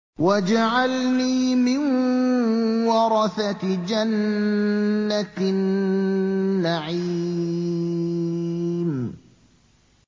وَاجْعَلْنِي مِن وَرَثَةِ جَنَّةِ النَّعِيمِ